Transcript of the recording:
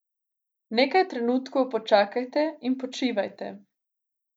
Nekaj trenutkov počakajte in počivajte.